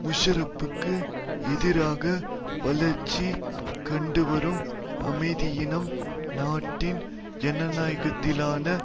முஷாரப்புக்கு எதிராக வளர்ச்சி கண்டுவரும் அமைதியீனம் நாட்டின் ஜனநாயகத்திலான